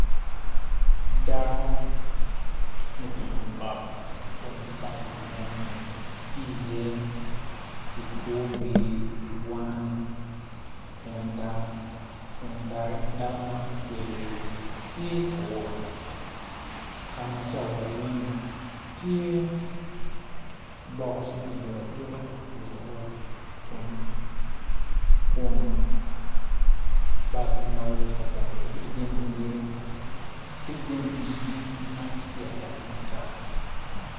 Dako ma otingo bap kun bap meno ni tye i ye kikobi,, cwan kun doki dako man otweyo wiye tye kawot ka ma tye ka wot i iye tye bok makidodo adoda i wi lalot kun bok ma kitye ka cato gitye ki jami i igi ma gitye kacato ne acata